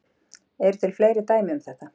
Eru til fleiri dæmi um þetta?